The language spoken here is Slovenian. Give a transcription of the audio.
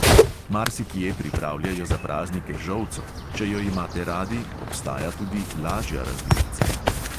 Marsikje pripravljajo za praznike žolco, če jo imate radi, obstaja tudi lažja različica.